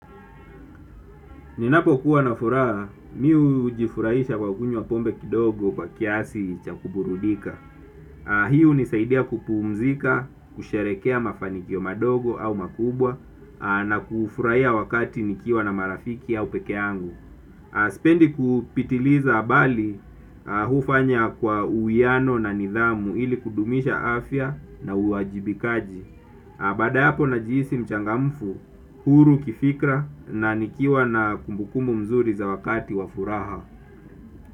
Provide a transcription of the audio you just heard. Ninapokuwa na furaha, mimi hujifurahisha kwa kunywa pombe kidogo kwa kiasi cha kuburudika. Hii hunisaidia kupumzika, kusherekea mafanikio madogo au makubwa na kufurahia wakati nikiwa na marafiki au peke yangu. Sipendi kupitiliza habali hufanya kwa uwiano na nidhamu ili kudumisha afya na uwajibikaji. Na baada ya hapo najihisi mchangamfu, huru kifikra na nikiwa na kumbukumbu mzuri za wakati wa furaha.